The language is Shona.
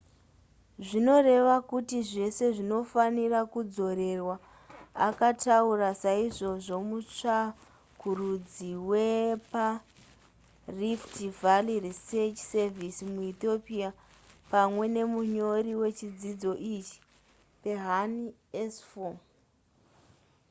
zvinoreva kuti zvese zvinofanira kudzorerwa akataura saizvozvo mutsvakurudzi weparift valley research service muethiopia pamwe nemunyori wechidzidzo ichi berhane asfaw